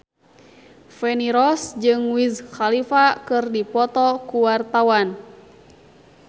Feni Rose jeung Wiz Khalifa keur dipoto ku wartawan